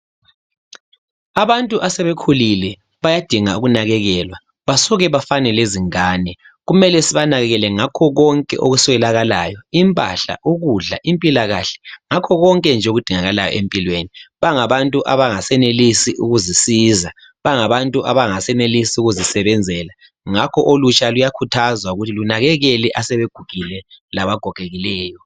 Abantu asebekhulile bayadinga ukunakelelwa basuke bafane lezingane. Kumele sibanekenele ngakho konke abakuswelayo impahla ,ukudla ,impila kahle ngakho konke nje okudingakalayo empilweni. Bangabantu abangasenelisi ukuzisiza, bangabantu abangasenelisi ukuzisebenzela ngakho olutsha luyakhuthazwa ukuthi lunakenele asebegugile labagogekileyo.